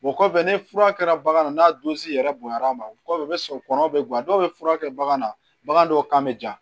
O kɔfɛ ni fura kɛra bagan na n'a don yɛrɛ bonyara ma o kɔfɛ u bɛ sɔrɔ kɔnɔ bɛ bonya dɔw bɛ fura kɛ bagan na bagan dɔw kan bɛ ja